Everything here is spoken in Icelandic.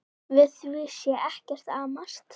Við því sé ekkert amast.